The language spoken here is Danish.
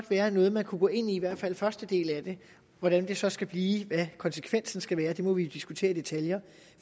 være noget man kunne gå ind i i hvert fald første del af det hvordan det så skal blive hvad konsekvensen skal være må vi jo diskutere i detaljer